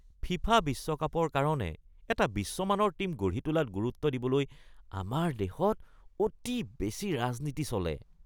FIFA বিশ্বকাপৰ কাৰণে এটা বিশ্বমানৰ টীম গঢ়ি তোলাত গুৰুত্ব দিবলৈ আমাৰ দেশত অতি বেছি ৰাজনীতি চলে।